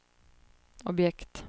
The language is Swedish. objekt